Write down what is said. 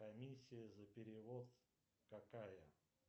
комиссия за перевод какая